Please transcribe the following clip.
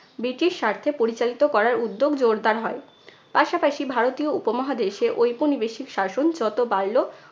British স্বার্থে পরিচালিত করার উদ্যোগ জোরদার হয়। পাশপাশি ভারতীয় উপমহাদেশে ঐপনিবেশিক শাসন যতো বাড়ল